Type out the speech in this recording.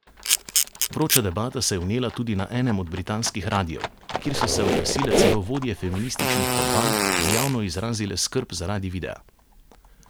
Vroča debata se je vnela tudi na enem od britanskih radiev, kjer so se oglasile celo vodje feminističnih kampanj in javno izrazile skrb zaradi videa.